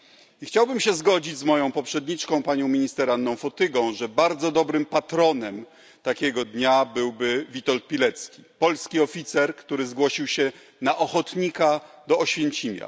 I chciałbym się zgodzić z moją poprzedniczką panią minister Anną Fotygą, że bardzo dobrym patronem takiego dnia byłby Witold Pilecki, polski oficer, który zgłosił się na ochotnika do Oświęcimia.